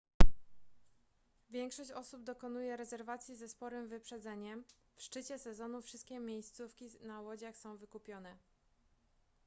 większość osób dokonuje rezerwacji ze sporym wyprzedzeniem w szczycie sezonu wszystkie miejscówki na łodziach są wykupione